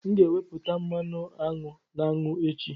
M ga-ewepụta mmanụ aṅụ na aṅụ echi.